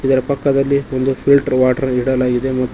ಇದರ ಪಕ್ಕದಲ್ಲಿ ಒಂದು ಫಿಲ್ಟರ್ ವಾಟರ್ ಇಡಲಾಗಿದೆ ಮತ್ತು--